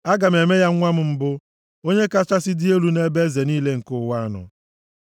Aga m eme ya nwa mbụ m, onye kachasị dị elu nʼebe eze niile nke ụwa nọ.